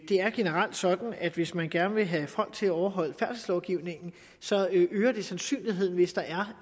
det er generelt sådan at hvis man gerne vil have folk til at overholde færdselslovgivningen så øger det sandsynligheden hvis der er